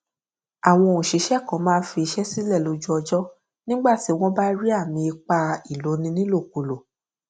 àwọn òṣìṣẹ kan máa n fi iṣẹ sílẹ lójú ọjọ nígbà tí wọn bá rí àmì ipá ìloni nílòkulò